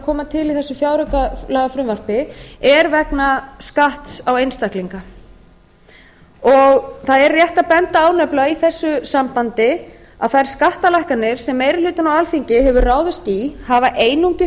koma til í þessu fjáraukalagafrumvarpi eru vegna skatts á einstaklinga það er rétt að benda á í þessu sambandi að þær skattalækkanir sem meiri hlutinn á alþingi hefur ráðist í hafa einungis